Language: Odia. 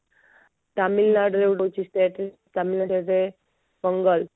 ତାମିଲନାଡୁ ଅଛି ଗୋଟେ state Tamil Nadu as a Pongal